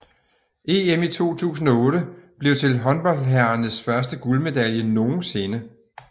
EM i 2008 blev til håndboldherrernes første guldmedalje nogensinde